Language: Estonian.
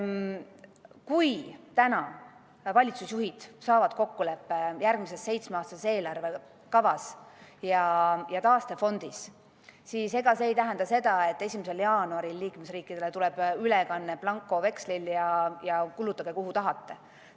Kui täna valitsusjuhid saavutavad kokkuleppe järgmises seitsmeaastases eelarve kavas ja taastefondis, siis ega see ei tähenda, et 1. jaanuaril tuleb liikmesriikidele ülekanne blankovekslil, et kulutage, kuhu tahate.